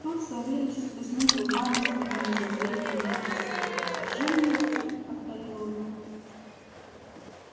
тут савельич всплеснул руками с видом изумления неописанного жениться повторил он